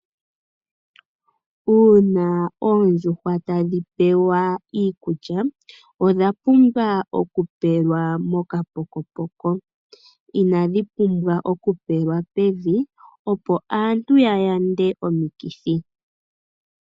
Uuna oondjuhwa tadhipewa iikulya odha pumbwa oku pelwa mokapokopoko. Ina dhipumbwa oku pelwa pevi opo aantu ya yande omikithi.